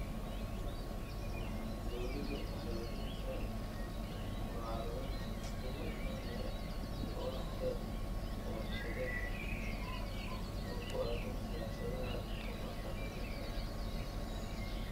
Dawladdu waxay wajaheysaa mucaaradad uga imaanaya waaxda warshadaha oo ku aaddan siyaasadaha tamarta nadiifka ah.